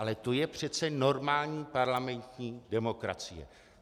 Ale to je přece normální parlamentní demokracie.